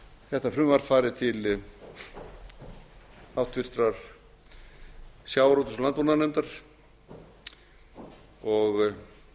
þetta frumvarp fari til háttvirtrar sjávarútvegs og landbúnaðarnefndar og